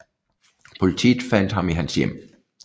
Politiet fandt ham i hans hjem